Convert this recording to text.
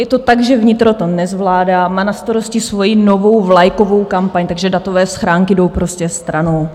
Je to tak, že vnitro to nezvládá, má na starosti svoji novou vlajkovou kampaň, takže datové schránky jdou prostě stranou.